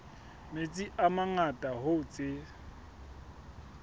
metsi a mangata hoo tse